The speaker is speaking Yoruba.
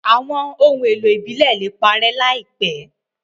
Awọn ohun èlò ibilẹ le parẹ laipẹ